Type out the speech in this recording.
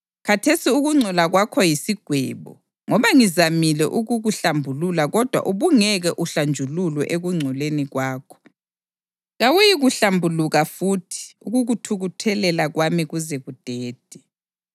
Khathesi ukungcola kwakho yisigwebo. Ngoba ngizamile ukukuhlambulula kodwa ubungeke uhlanjululwe ekungcoleni kwakho, kawuyikuhlambuluka futhi ukukuthukuthelela kwami kuze kudede.